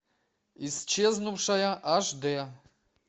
исчезнувшая аш д